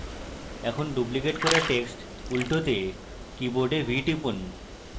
এখন ডুপ্লিকেট করা text উল্টোতে keyboard v টিপুন